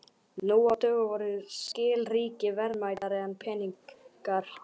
Nú á dögum voru skilríki verðmætari en peningar.